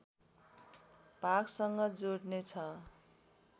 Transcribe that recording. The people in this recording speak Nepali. भागसँग जोड्ने छ